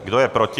Kdo je proti?